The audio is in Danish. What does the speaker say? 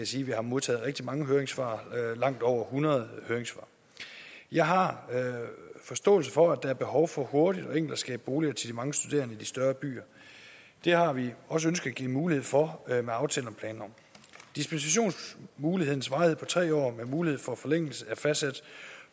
sige at vi har modtaget rigtig mange høringssvar langt over hundrede jeg har forståelse for at der er behov for hurtigt og enkelt at skabe boliger til de mange studerende i de større byer det har vi også ønsket at give mulighed for med aftalen om planloven dispensationsmulighedens varighed på tre år med mulighed for forlængelse er fastsat